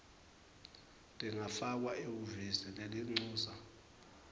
tingafakwa ehhovisi lelincusa